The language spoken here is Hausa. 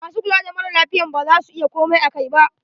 MAsu kula da mara lafiyan ba za su iya komai akai ba.